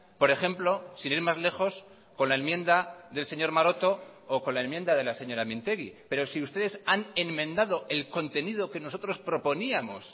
por ejemplo sin ir más lejos con la enmienda del señor maroto o con la enmienda de la señora mintegi pero si ustedes han enmendado el contenido que nosotros proponíamos